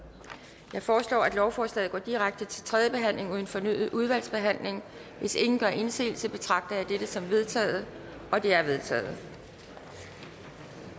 jeg foreslår at lovforslaget går direkte til tredje behandling uden fornyet udvalgsbehandling hvis ingen gør indsigelse betragter jeg dette som vedtaget det er vedtaget